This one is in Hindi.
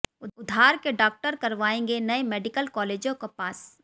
उधार के डाक्टर करवाएंगे नए मेडिकल कालेजों को पास